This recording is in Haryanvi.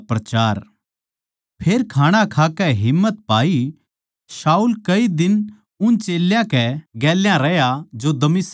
फेर खाणा खाकै हिम्मत पाई शाऊल कई दिन उन चेल्यां कै गेल्या रहया जो दमिश्क नगर म्ह थे